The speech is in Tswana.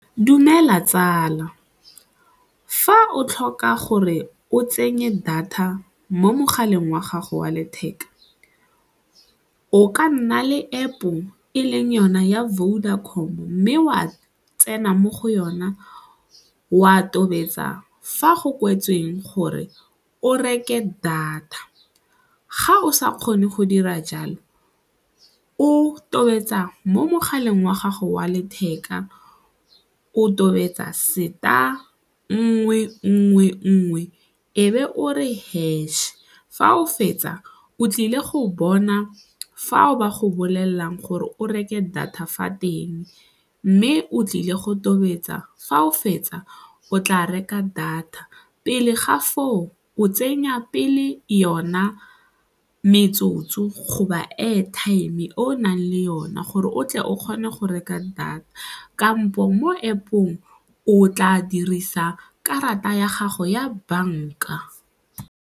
Dumela tsala, fa o tlhoka gore o tsenye data mo mogaleng wa gago wa letheka o ka nna le App-o e leng yona ya Vodacom mme wa tsena mo go yona wa tobetsa fa go kwetsweng gore o reke data, ga o sa kgone go dira jalo o tobetsa mo mogaleng wa gago wa letheka o tobetsa seta nngwe, nngwe, nngwe e be o re hash. Fa o fetsa o tlile go bona fa o ba go bolelelang gore o reke data fa teng mme o tlile go tobetsa fa o fetsa o tla reka data pele ga foo o tsenya pele yona metsotso go ba airtime e o nang le yone gore o tle o kgone go reka data kampo mo App-ong o tla dirisa karata ya gago ya banka.